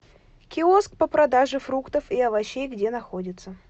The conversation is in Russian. киоск по продаже фруктов и овощей где находится